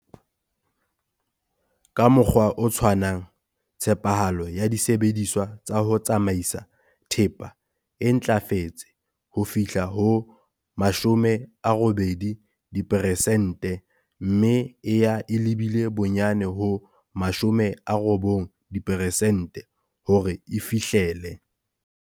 Ka mokgwa o tshwanang, tshepahalo ya disebediswa tsa ho tsamaisa thepa e ntlafetse ho fihla ho 80 diperesente mme e ya e lebile bonyane ho 95 diperesente hore e fihlele